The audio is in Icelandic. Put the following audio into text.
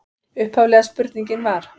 Upphaflega spurningin var: